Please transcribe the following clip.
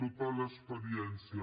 tota l’experiència